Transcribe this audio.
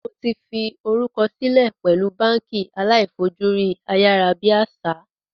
Mó ti fi orúkọ silẹ pẹ̀lú báànkì aláì fojú rí ayárábiàsà